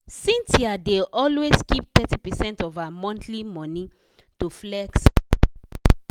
cynthia dey always keep thirty percent of her monthly money to flex outside.